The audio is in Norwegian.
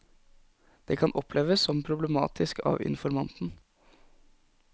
Det kan oppleves som problematisk av informanten.